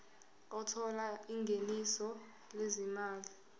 othola ingeniso lezimali